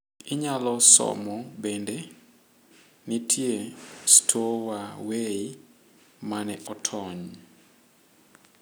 Inyalo somo bende: Nitie 'stowaway' mane otony.